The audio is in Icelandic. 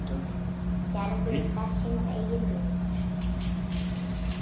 Gerður fer sínar eigin leiðir.